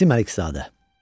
İsim Əlizadə.